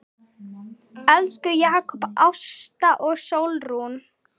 Elsku Jakob, Ásta og Sólrún.